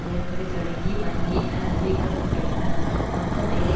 நெருக்கடி தொடங்கி வங்கியினால் அறிவிக்க பட்டுள்ளன மொத்தம் வேலை